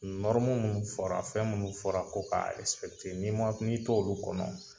Nɔrmu minnu fɔra, fɛn minnu fɔra, ko k' a n'i t' olu kɔnɔ.